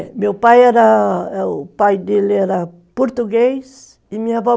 É, meu pai era, o pai dele era português e minha avó